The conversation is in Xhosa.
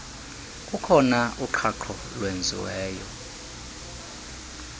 kukhona uqhaqho olwenziweyo